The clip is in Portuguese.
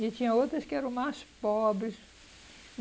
E tinha outras que eram mais pobres.